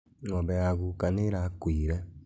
Ng'ombe ya gũka nĩĩrakũire